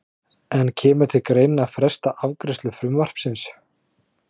En kemur til greina að fresta afgreiðslu frumvarpsins?